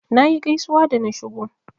Nayi gaisuwa da na shigo.